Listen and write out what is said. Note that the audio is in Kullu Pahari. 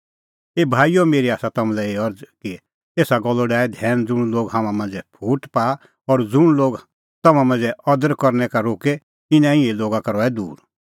ऐबै भाईओ मेरी आसा तम्हां लै एही अरज़ कि एसा गल्लो डाहै धैन ज़ुंण लोग तम्हां मांझ़ै फूट पाआ और ज़ुंण लोग तम्हां परमेशरे अदर करनै का रोके इना इहै लोगा का रहै दूर